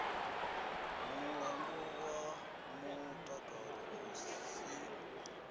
mulandu wa mutakalo u si